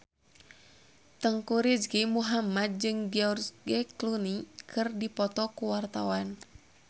Teuku Rizky Muhammad jeung George Clooney keur dipoto ku wartawan